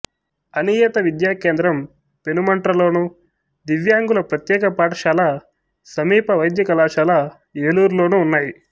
అనియత విద్యా కేంద్రం పెనుమంట్ర లోను దివ్యాంగుల ప్రత్యేక పాఠశాల సమీప వైద్య కళాశాల ఏలూరు లోనూ ఉన్నాయి